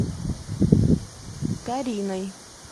кариной